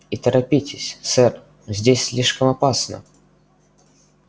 и торопитесь сэр здесь слишком опасно